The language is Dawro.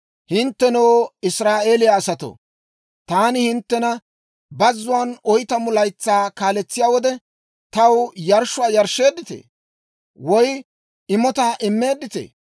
«Hinttenoo, Israa'eeliyaa asatoo, taani hinttena bazzuwaan oytamu laytsaa kaaletsiyaa wode, taw yarshshuwaa yarshsheedditee? Woy imotaa immeedditee?